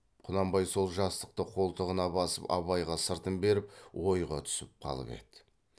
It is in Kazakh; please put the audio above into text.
құнанбай сол жастықты қолтығына басып абайға сыртын беріп ойға түсіп қалып еді